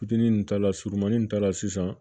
Fitinin ta la surunmanin nin ta la sisan